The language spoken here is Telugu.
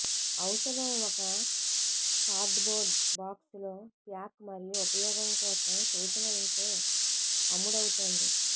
ఔషధం ఒక కార్డ్బోర్డ్ బాక్స్ లో ప్యాక్ మరియు ఉపయోగం కోసం సూచనలను తో అమ్ముడవుతోంది